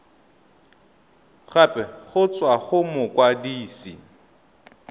gape go tswa go mokwadise